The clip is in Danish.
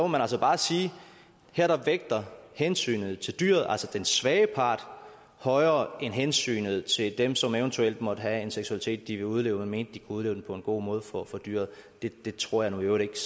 man altså bare sige at her vægter hensynet til dyret altså den svage part højere end hensynet til dem som eventuelt måtte have en seksualitet de vil udleve og mente de kunne udleve den på en god måde for dyret det tror jeg nu i øvrigt